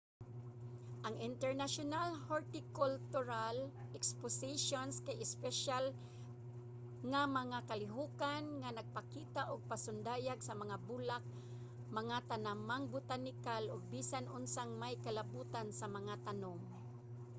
ang international hortikultural expositions kay espesyal nga mga kalihokan nga nagpakita og pasundayag sa mga bulak mga tanamang botanikal ug bisan unsang may kalabutan sa mga tanom